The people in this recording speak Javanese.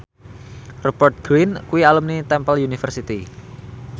Rupert Grin kuwi alumni Temple University